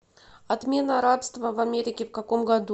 отмена рабства в америке в каком году